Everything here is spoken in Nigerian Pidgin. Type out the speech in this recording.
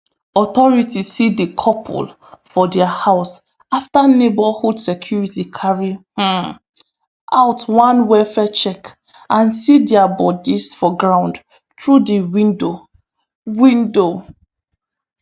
authorities see di couple for dia house afta neighbourhood security carry um out one welfare check and see dia bodies for ground through di window window